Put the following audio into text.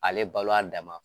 Ale balo a dan ma.